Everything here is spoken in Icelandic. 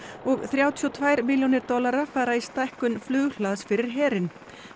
og þrjátíu og tvær milljónir dollara fara í stækkun flughlaðs fyrir herinn